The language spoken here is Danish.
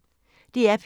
DR P1